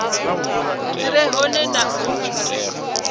dzi re hone na u